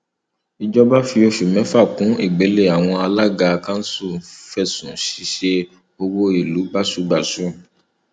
ìjọba fi oṣù mẹfà kún ìgbélé àwọn alága kanṣu fẹsùn ṣíṣe owó ìlú báṣubàṣu